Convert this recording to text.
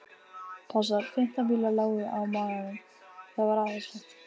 Passar. fimmtán bílar lágu á maganum. það var æðislegt.